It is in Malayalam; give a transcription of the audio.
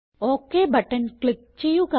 ഒക് ബട്ടൺ ക്ലിക്ക് ചെയ്യുക